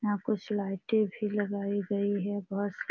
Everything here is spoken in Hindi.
यहाँ कुछ लाइटे भी लगाई गई हैं बहुत सा --